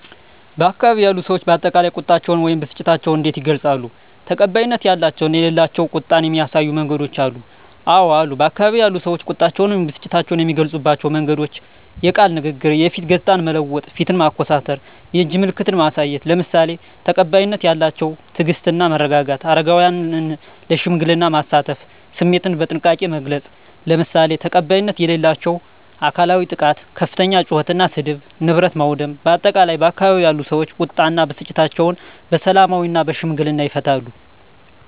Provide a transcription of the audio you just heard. በአካባቢው ያሉ ሰዎች በአጠቃላይ ቁጣቸውን ወይም ብስጭታቸውን እንዴት ይገልጻሉ? ተቀባይነት ያላቸው እና የሌላቸው ቁጣን የሚያሳዩ መንገዶች አሉ? *አወ አሉ፦ በአካባቢው ያሉ ሰዎች ቁጣቸውን ወይም ብስጭታቸውን የሚገልጹባቸው መንገዶች፦ * የቃል ንግግር *የፊት ገጽታን መለወጥ (ፊትን ማኮሳተር)፣ *የእጅ ምልክቶችን ማሳየት፣ **ለምሳሌ፦ ተቀባይነት ያላቸው * ትዕግስት እና መረጋጋት: * አረጋውያንን ለሽምግልና ማሳተፍ።: * ስሜትን በጥንቃቄ መግለጽ: **ለምሳሌ፦ ተቀባይነት የሌላቸው * አካላዊ ጥቃት * ከፍተኛ ጩኸት እና ስድብ: * ንብረት ማውደም: በአጠቃላይ፣ ባካባቢው ያሉ ሰዎች ቁጣ እና ብስጭታቸውን በሰላማዊና በሽምግልና ይፈታሉ።